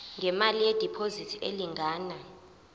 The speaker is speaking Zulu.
ngemali yediphozithi elingana